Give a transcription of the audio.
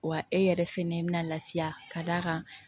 Wa e yɛrɛ fɛnɛ bɛ na lafiya ka d'a kan